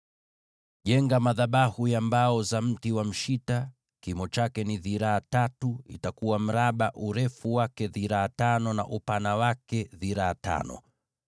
“Jenga madhabahu ya mbao za mti wa mshita, kimo chake kiwe dhiraa tatu; itakuwa mraba, urefu wake dhiraa tano, na upana wake dhiraa tano.